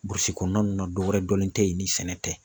Burusi kɔnɔna ninnu na dɔwɛrɛ dɔnlen tɛ ye ni sɛnɛ tɛ.